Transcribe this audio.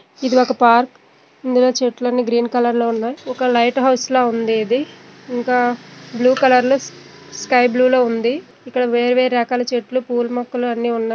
ఇది ఒక పార్క్ ఇందులో చెట్లని గ్రీన్ కలర్ లో ఉన్నాయి. ఒక లైట్ హౌస్ లా ఉంది. ఇది ఇంకా బ్లూ కలర్ లో స్కై బ్లూ లో ఉండే ఇక్కడ వేర్వేరు రకాల చెట్లు పూల మొక్కలు అన్ని ఉన్నాయి.